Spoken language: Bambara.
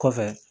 Kɔfɛ